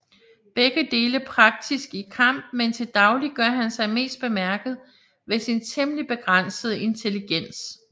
Begge dele praktisk i kamp men til dagligt gør han sig mest bemærket ved sin temmelig begrænsede intelligens